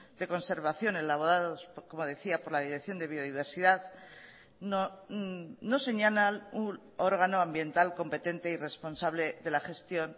de conservación elaborados como decía por la dirección de biodiversidad no señalan un órgano ambiental competente y responsable de la gestión